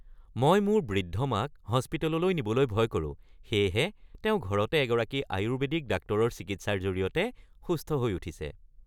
মই মোৰ বৃদ্ধ মাক হস্পিটেললৈ নিবলৈ ভয় কৰোঁ, সেয়েহে তেওঁ ঘৰতে এগৰাকী আয়ুৰ্বেদিক ডাক্তৰৰ চিকিৎসাৰ জৰিয়তে সুস্থ হৈ উঠিছে।